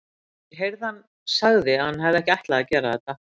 Ég heyrði að hann sagði að hann hefði ekki ætlað að gera þetta.